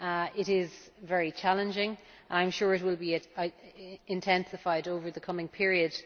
It is very challenging, and I am sure it will be intensified over the coming period.